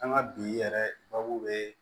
An ka bi yɛrɛ babu bɛ